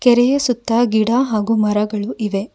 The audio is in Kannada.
ಕೆರೆಯ ಸುತ್ತ ಗಿಡ ಹಾಗು ಮರಗಳು ಇವೆ.